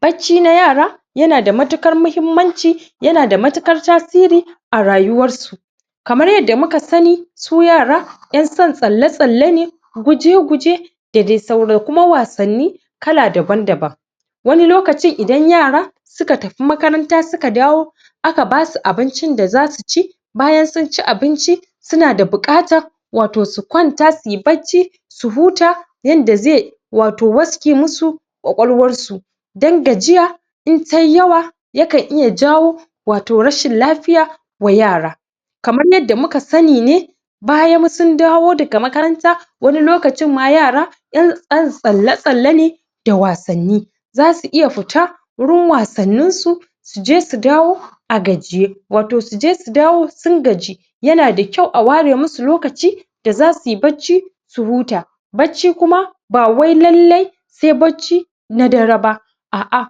bacci na yara yana da matuƙar muhummanci yana da matuƙar tasiri a rayuwar su kamar yadda muka sani su yara 'yan son tsalle-tsalle ne guje-guje da dai sauran kuma wasanni kala daban-daban wani lokacin idan yara suka tafi makaranta suka dawo aka basu abincin da za su ci bayan sun ci abinci suna da buƙatan wato su kwanta suyi bacci su huta yanda ze wato waske musu kwakwalwarsu don gajiya in tai yawa, yakan iya jawo wato rashin lafiya wa yara kamar yanda muka sani ne bayan sun dawo daga makaranta wani lokacin ma yara ƴan ƴan tsalle-tsalle ne da wasanni, zasu iya futa wurin wasanninsu suje su dawo a gajiye wato suje su dawo sun gaji yana da kyau a ware musu lokaci da zasuyi bacci su huta bacci kuma bawai lalle se bacci na dare ba a'a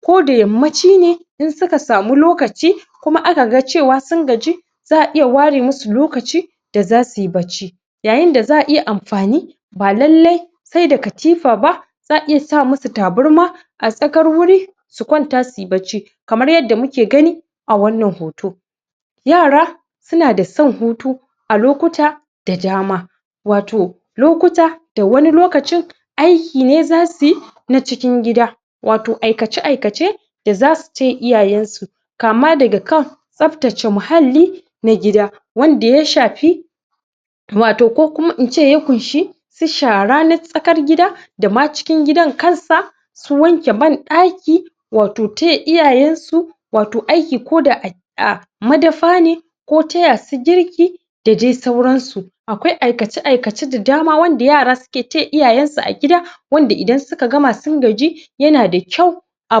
koda yammaci ne in suka samu lokaci kuma aka gan cewa sun gaji za'a iya ware musu lokaci da zasuyi bacci yayinda za'a iya amfani ba lallai se da katifa ba za'a iya sa musu tabarma a tsakar wuri su kwanta suyi bacci kamar yadda muke gani a a wannan hoto yara suna da san hutu a lokuta da dama wato lokuta da wani lokacin aiki ne zasuyi na cikin gida wato aikace-aikace da zasu taya iyayensu kama daga kan tsaftace muhalli na gida wanda ya shafi wato ko kuma ince ya kunshi su shara na tsakar gida da ma cikin gidan kansa su wanke banɗaki wato taya iyayensu wato aiki koda a a madafa ne ko tayasu girki da dai sauransu akwai aikace-aikace da dama wanda yara suke taya iyayensu a gida wanda idan suka gama sun gaji yana da kyau a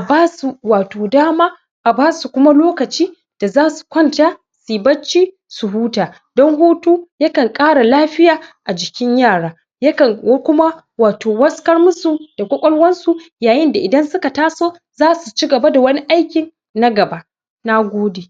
basu wato dama a basu kuma lokaci da zasu kwanta suyi bacci su huta don hutu yakan ƙara lafiya a jikin yara yakan wu kuma wato waskar musu da kwakwalwarsu yayinda idan suka taso zasuci gaba da wani aikin na gaba nagode.